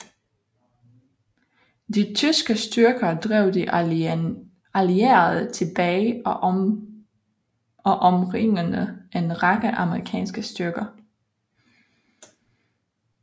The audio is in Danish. De tyske styrker drev de allierede tilbage og omringede en række amerikanske styrker